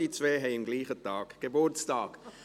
die beiden haben am selben Tag Geburtstag.